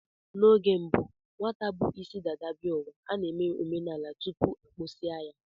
N'oge gboo, nwata bu isi dada bịa ụwa, a na-eme omenala tupu a kpụsịa ya